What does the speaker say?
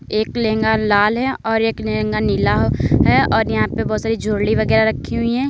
एक लहंगा लाल है और एक लहंगा नीला हौ है और यहां पे बोहोत सारी ज्वेलरी वगैरा रखी हुई हैं।